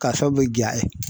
K'a sabu kɛ ja ye.